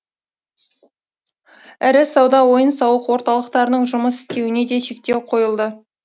ірі сауда ойын сауық орталықтарының жұмыс істеуіне де шектеу қойылды